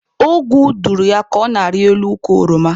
Ogwu dụrụ ya ka ọ na-arị elu ukwu oroma.